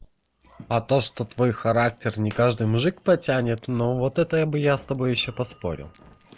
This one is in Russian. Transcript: а то что твой характер не каждый мужик потянет но вот это я бы я с тобой ещё поспорил